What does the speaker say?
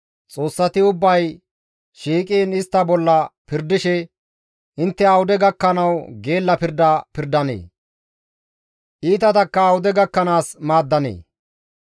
«Intte awude gakkanawu geella pirda pirdanee? Iitatakka awude gakkanaas maaddanee?